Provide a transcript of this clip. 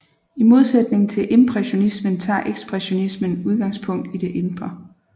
I modsætning til impressionismen tager ekspressionismen udgangspunkt i det indre